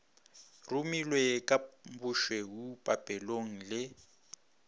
rumilwe ka bošweu papelong le